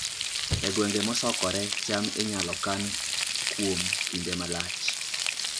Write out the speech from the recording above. E gwenge mosokore, cham inyalo kan kuom kinde malach